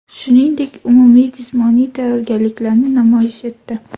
Shuningdek, umumiy jismoniy tayyorgarliklarini namoyish etdi.